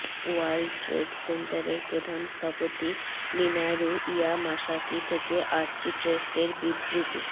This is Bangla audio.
ওয়ার্ল্ড ট্রেড সেন্টারের প্রধান স্থপতি মিনারু ইয়ামাসাকি থেকে আর্চিটেক্ট এর বিবৃতি